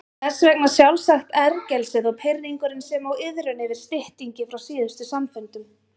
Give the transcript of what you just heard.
Þess vegna sjálfsagt ergelsið og pirringurinn sem og iðrun yfir styttingi frá síðustu samfundum.